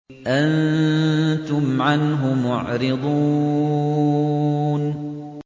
أَنتُمْ عَنْهُ مُعْرِضُونَ